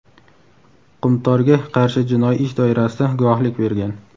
"Qumtor"ga qarshi jinoiy ish doirasida guvohlik bergan.